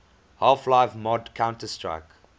half life mod counter strike